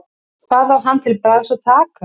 Hvað á hann til bragðs að taka?